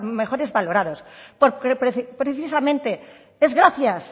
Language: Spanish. mejor valorados porque precisamente es gracias